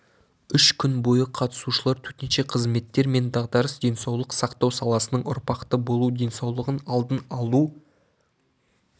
үш күн бойы қатысушылар төтенше қызметтер мен дағдарыс денсаулық сақтау саласының ұрпақты болу денсаулығын алдын алу